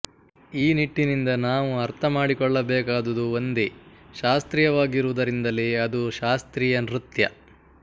ಈ ನಿಟ್ಟಿನಿಂದ ನಾವು ಅರ್ಥ ಮಾಡಿಕೊಳ್ಳಬೇಕಾದುದು ಒಂದೇ ಶಾಸ್ತ್ರೀಯವಾಗಿರುವುದರಿಂದಲೇ ಅದು ಶಾಸ್ತ್ರೀಯ ನೃತ್ಯ